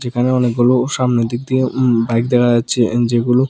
এখানে অনেকগুলো সামনের দিক দিয়ে উম বাইক দেখা যাচ্ছে এন্ড যেগুলো--।